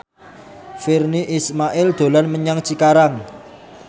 Virnie Ismail dolan menyang Cikarang